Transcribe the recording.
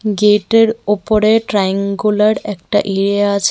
গেটের ওপরে ট্রাইঅ্যাঙ্গুলার একটা ইরে আছে.